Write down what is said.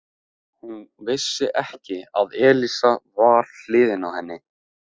Hún vissi ekki að Elísa var við hliðina á henni.